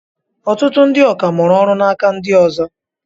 Ọtụtụ ndị ọkà mụrụ ọrụ n'aka ndị ọzọ.